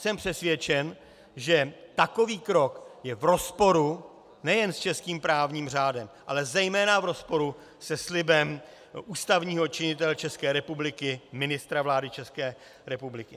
Jsem přesvědčen, že takový krok je v rozporu nejen s českým právním řádem, ale zejména v rozporu se slibem ústavního činitele České republiky, ministra vlády České republiky.